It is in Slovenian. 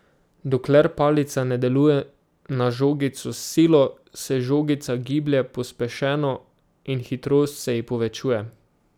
Dokler palica deluje na žogico s silo, se žogica giblje pospešeno in hitrost se ji povečuje.